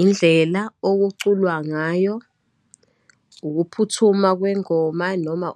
Indlela okuculwa ngayo, ukuphuthuma kwengoma, noma